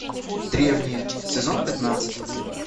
древние сезон пятнадцать